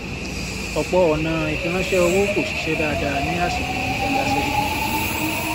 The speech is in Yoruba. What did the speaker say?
ọpọ ọnà ìfiránṣẹ owó kọ ṣiṣẹ dáadáa ní àsìkò tó kọjá sẹyìn